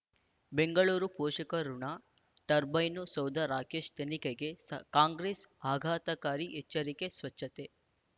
ಬೆಂಗಳೂರು ಪೋಷಕರಋಣ ಟರ್ಬೈನು ಸೌಧ ರಾಕೇಶ್ ತನಿಖೆಗೆ ಸ ಕಾಂಗ್ರೆಸ್ ಆಘಾತಕಾರಿ ಎಚ್ಚರಿಕೆ ಸ್ವಚ್ಛತೆ